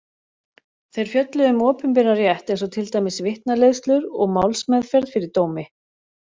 Þeir fjölluðu um opinberan rétt eins og til dæmis vitnaleiðslur og málsmeðferð fyrir dómi.